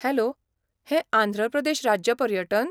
Hello, हें आंध्र प्रदेश राज्य पर्यटन?